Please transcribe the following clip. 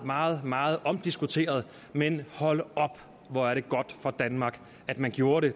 meget meget omdiskuteret men hold op hvor er det godt for danmark at man gjorde det